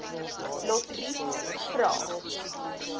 lotriet vra